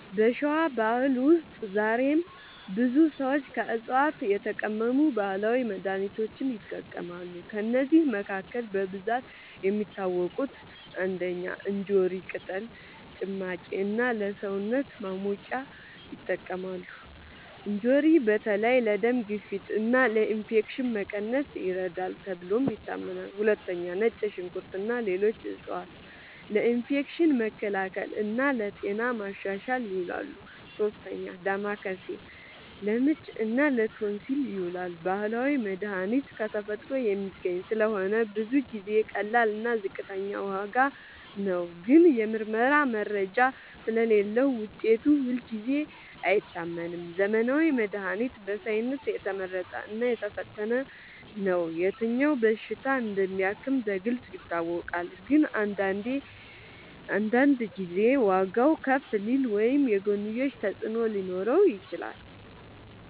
በሸዋ ባህል ውስጥ ዛሬም ብዙ ሰዎች ከዕፅዋት የተቀመሙ ባህላዊ መድሃኒቶችን ይጠቀማሉ። ከእነዚህ መካከል በብዛት የሚታወቁት፦ ፩. እንጆሪ ቅጠል ጭማቂ እና ለሰውነት ማሞቂያ ይጠቅማል። እንጆሪ በተለይ ለደም ግፊት እና ለኢንፌክሽን መቀነስ ይረዳል ተብሎ ይታመናል። ፪. ነጭ ሽንኩርት እና ሌሎች ዕፅዋት ለኢንፌክሽን መከላከል እና ለጤና ማሻሻል ይውላሉ። ፫. ዳማከሴ ለምች እና ለቶንሲል ይዉላል። ባህላዊ መድሃኒት ከተፈጥሮ የሚገኝ ስለሆነ ብዙ ጊዜ ቀላል እና ዝቅተኛ ዋጋ ነው። ግን የምርመራ መረጃ ስለሌለዉ ውጤቱ ሁልጊዜ አይታመንም። ዘመናዊ መድሃኒት በሳይንስ የተመረጠ እና የተፈተነ ነው። የትኛው በሽታ እንደሚያክም በግልጽ ይታወቃል። ግን አንዳንድ ጊዜ ዋጋዉ ከፍ ሊል ወይም የጎንዮሽ ተፅዕኖ ሊኖረው ይችላል።